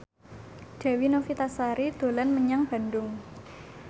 Dewi Novitasari dolan menyang Bandung